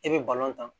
I bɛ tan